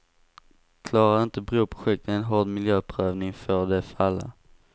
Klarar inte broprojektet en hård miljöprövning får det falla.